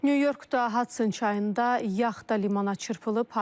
Nyu-Yorkda Hason çayında yaxta limana çırpılıb.